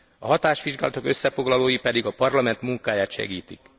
A hatásvizsgálatok összefoglalói pedig a Parlament munkáját segítik.